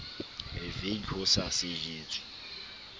a veke ho sa sejetswe